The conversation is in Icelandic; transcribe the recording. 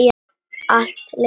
Allt leikur í lyndi.